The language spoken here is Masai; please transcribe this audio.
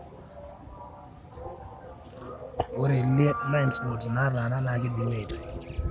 ore lymph nodes nataana na kindimi aitayu.